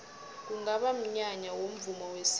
kungaba mnyanya womvumo wesintu